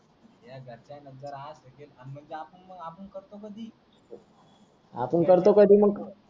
या घरच्यांननंतर आज आपण करतो कधी आपण करतो कधी मग